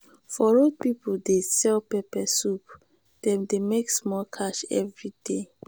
for road people dey sell pepper soup dem dey make small cash every day.